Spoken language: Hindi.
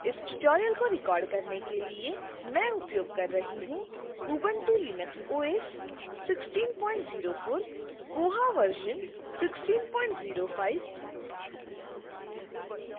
इस tutorial को record करने के लिए मैं उपयोग कर रही हूं